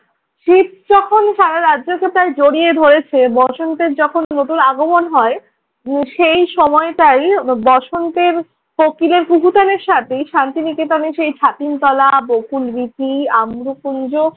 শীত যখন সারা রাজ্যকে প্রায় জড়িয়ে ধরেছে বসন্তের যখন নতুন আগমন হয় সেই সময়টাই বসন্তের কোকিলের কুহুতানের সাথে শান্তি নিকেতনে সেই ছাতিমতলা, বকুলবীথি, আম্রকুঞ্জ